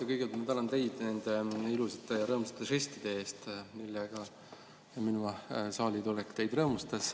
Ma kõigepealt tänan teid nende ilusate ja rõõmsate žestide eest, millega minu saalitulek teid rõõmustas.